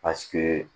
Paseke